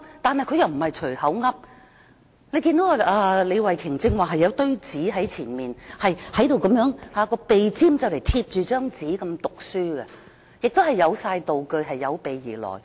但是，他們又不是隨口亂說，我剛才看見李慧琼議員有一疊講稿在面前，她照講稿讀出，鼻尖幾乎貼着講稿，亦有道具，是有備而來的。